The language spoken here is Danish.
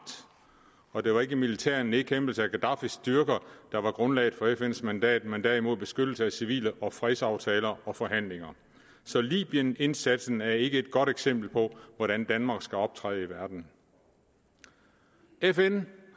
og det var ikke den militære nedkæmpelse af gaddafis styrker der var grundlaget for fns mandat men derimod beskyttelse af civile og fredsaftaler og forhandlinger så libyenindsatsen er ikke noget godt eksempel på hvordan danmark skal optræde i verden fn